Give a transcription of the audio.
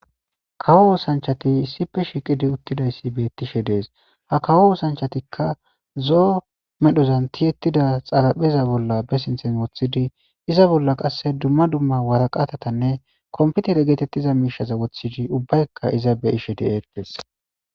Kawo osanchati issife shiiqidi uttidayssi beettishe dees ha kawo osanchatikka zoo medhozan tiyettida xalapheza bolla be sinthen woththidi iza bolla qasse dumma dumma waraqatatanne komputere geetettiza miishaza wothidi ubbaykka iza be ishe di eqqees.